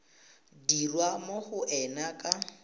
dirwa mo go ena ka